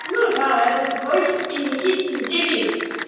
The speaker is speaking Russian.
ну да это твой и никитин девиз